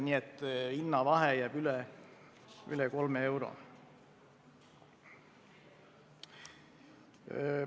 Nii et hinnavahe jääb üle 3 euro.